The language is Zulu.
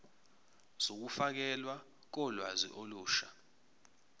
zokufakelwa kolwazi olusha